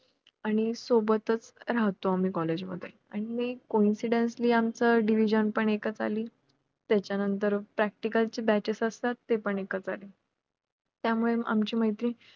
आणि सोबतच राहतो आम्ही college मध्ये आणि coincidencely आमचं division पण एकच आली त्याच्या नंतर practical चे batches असतात ते पण एकच आले त्यामुळे आमची मैत्री